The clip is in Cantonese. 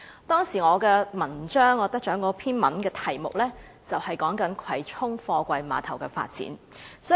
當時我那篇得獎文章的題目，就是"葵涌貨櫃碼頭的發展"。